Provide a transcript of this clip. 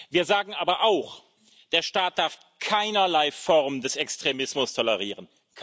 Wir sagen aber auch Der Staat darf keinerlei Form des Extremismus tolerieren.